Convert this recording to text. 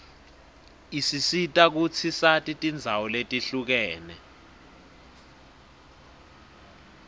isisita kutsi sati tindzawo letihlukene